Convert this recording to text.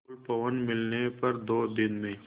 अनुकूल पवन मिलने पर दो दिन में